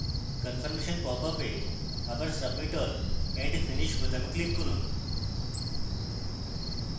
confirmation popup এ আবার submit all and finish বোতামে click করুন